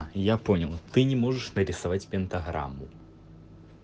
я понял ты не можешь нарисовать пентаграмму